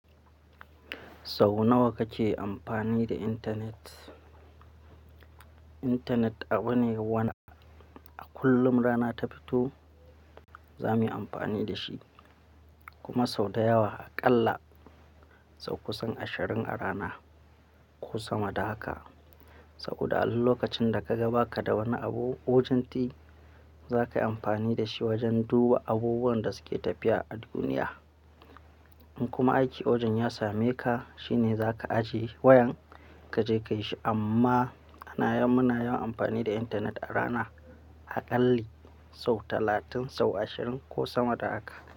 Sau nawa kake amfani da intanet? Intanet abu ne wana a kullum rana ta fito za mu yi amfani da shi, kuma sau da yawa aƙalla sau kusan ashirin a rana ko sama da haka. Saboda a duk lokacin da ka ga baka da wani abu, wajen ɗi za ka yi amfani da shi wajen duba abubuwan da suke tafiya a duniya. In kuma aiki wajen ya same ka, shi ne za ka ajiye wayan ka je ka yi shi. Amma muna yawan amfani da intanet a rana, aƙalli sau talatin, sau ashirin ko sama da haka.